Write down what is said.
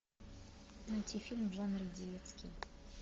найти фильм в жанре детский